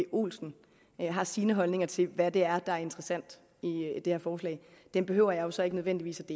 olsen har sine holdninger til hvad der er interessant i det her forslag dem behøver jeg så ikke nødvendigvis